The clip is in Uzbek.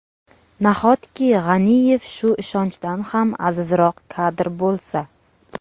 Nahotki G‘aniyev shu ishonchdan ham azizroq kadr bo‘lsa?